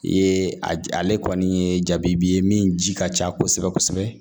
I ye a ale kɔni ye jaabi ye min ji ka ca kosɛbɛ kosɛbɛ